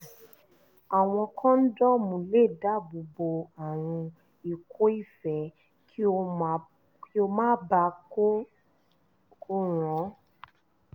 àwọn kọ́ńdọ́ọ̀mù lè dáàbò bo àrùn ikọ́ife kí ó má baà ko ràn ọ́